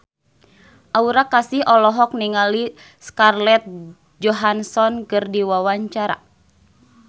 Aura Kasih olohok ningali Scarlett Johansson keur diwawancara